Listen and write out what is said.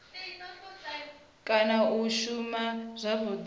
kana u sa shuma zwavhudi